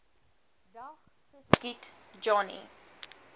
dag geskiet johnny